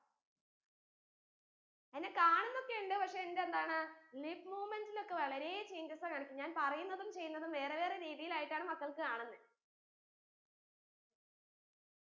എന്നെ കാണുന്നൊക്കെ ഉണ്ട് പക്ഷെ എന്റെ എന്താണ് lip movement ലൊക്കെ വളരെ changes ആ കാണിക്കുന്ന് ഞാൻ പറയുന്നതും ചെയ്യുന്നതും വേറെ വേറെ രീതിയിലായിട്ടാണ് മക്കൾക്ക് കാണുന്നെ